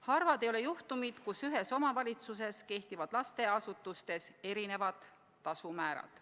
Harvad ei ole juhtumid, kus ühes omavalitsuses kehtivad lasteasutustes erinevad tasumäärad.